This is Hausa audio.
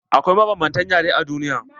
Akwai mabanbanta yare a duniya.